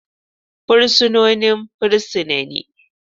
Fursunonin fursuna ne.